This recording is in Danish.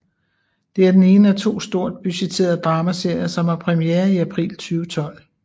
Det er den ene af to stort budgetterede dramaserier som har premiere i april 2012